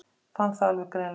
Fann það alveg greinilega.